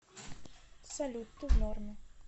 салют ты в норме